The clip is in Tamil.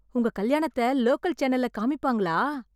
உங்க கல்யாணத்த லோக்கல் சேனல்ல காமிப்பாங்களா?